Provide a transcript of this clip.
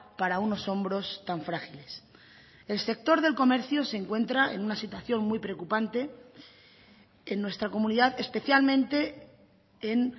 para unos hombros tan frágiles el sector del comercio se encuentra en una situación muy preocupante en nuestra comunidad especialmente en